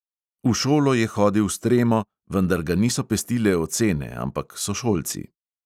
V šolo je hodil s tremo, vendar ga niso pestile ocene, ampak sošolci.